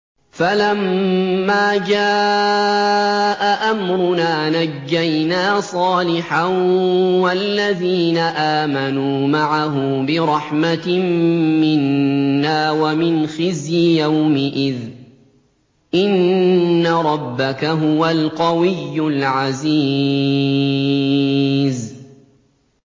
فَلَمَّا جَاءَ أَمْرُنَا نَجَّيْنَا صَالِحًا وَالَّذِينَ آمَنُوا مَعَهُ بِرَحْمَةٍ مِّنَّا وَمِنْ خِزْيِ يَوْمِئِذٍ ۗ إِنَّ رَبَّكَ هُوَ الْقَوِيُّ الْعَزِيزُ